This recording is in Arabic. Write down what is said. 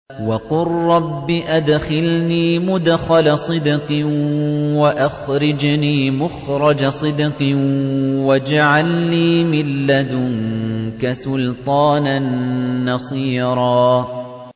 وَقُل رَّبِّ أَدْخِلْنِي مُدْخَلَ صِدْقٍ وَأَخْرِجْنِي مُخْرَجَ صِدْقٍ وَاجْعَل لِّي مِن لَّدُنكَ سُلْطَانًا نَّصِيرًا